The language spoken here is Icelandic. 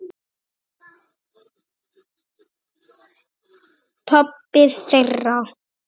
Pabbi þeirra?